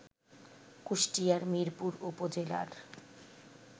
কুষ্টিয়ার মিরপুর উপজেলার